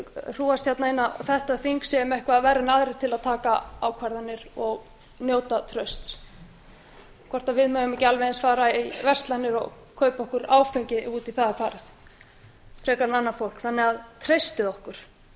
hrúgast hér inn á þetta þing séum eitthvað verri en aðrir til að taka ákvarðanir og njóta trausts hvort við megum ekki alveg eins fara í verslanir og kaupa okkur áfengi ef út í það er farið frekar en annað fólk þannig að treystið okkur